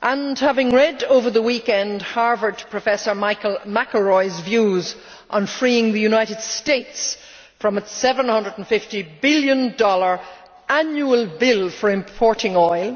and having read over the weekend Harvard professor Michael McElroy's views on freeing the United States from its USD 750 billion annual bill for importing oil,